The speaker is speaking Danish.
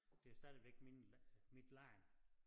Det er stadigvæk mine mit land